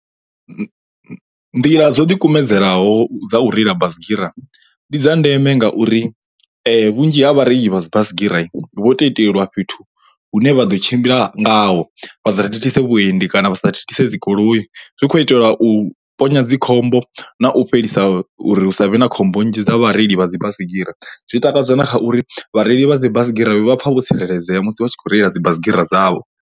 Nḓila dzo ḓikumedzelaho dza u reila basigira ndi dza ndeme ngauri vhunzhi ha vhareili vha dzi baisigira vho to itelwa fhethu hune vha ḓo tshimbila ngaho vhasa thithise vhuendi kana vha sa thithise dzi goloi zwi kho itelwa u ponya dzi khombo na u fhelisa uri hu sa vhe na khombo nnzhi dza vhareili vha dzibaisigira zwi takadza na kha uri vhareili vha dzi baisigira vha pfha vho tsireledzea musi vha tshi kho reila dzi baisigira dzavho.